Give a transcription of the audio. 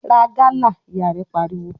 "Ra gálà!", Ìyá rẹ̀ pariwo.